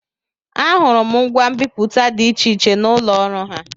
Ahụrụ m ngwa mbipụta dị iche iche n'ụlọ ọrụ ha.